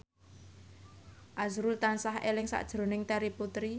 azrul tansah eling sakjroning Terry Putri